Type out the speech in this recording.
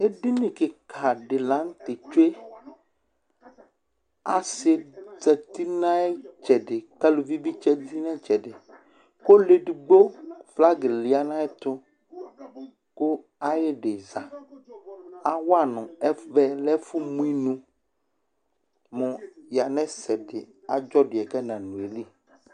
Edini kɩka dɩ la nʋ tɛ tsue Asɩ zati nʋ ayʋ ɩtsɛdɩ kʋ aluvi bɩ zati nʋ ɩtsɛdɩ kʋ ɔlʋ edigbo flagɩ ya nʋ ayɛtʋ kʋ ayɩdɩ za Awa nʋ ɛvɛ lɛ ɛfʋmʋ inu mʋ yanʋ ɛsɛ dɩ adzɔ dʋ yɛ kʋ ɛnanʋ ayili